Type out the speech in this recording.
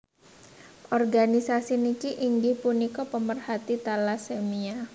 Organisasi niki inggih punika pemerhati talasemia